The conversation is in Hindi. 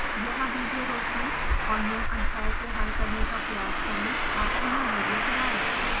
यहाँ विडियो रोकें और निम्न अध्याय को हल करने का प्रयास करें और पुनः विडियो चलाएं